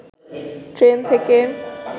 train থেকে